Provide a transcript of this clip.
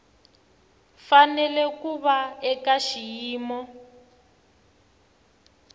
fanele ku va eka xiyimo